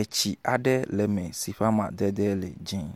Etsi aɖe le me si amadede le dzĩ